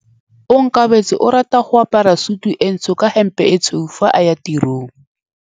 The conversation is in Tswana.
Onkabetse o rata go apara sutu e ntsho ka hempe e tshweu fa a ya tirong.